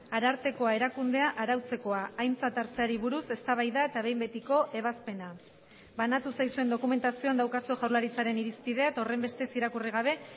arartekoa erakundea arautzekoa aintzat hartzeari buruz eztabaida eta behin betiko ebazpena banatu zaizuen dokumentazioan daukazue jaurlaritzaren irizpidea eta horrenbestez irakurri gabe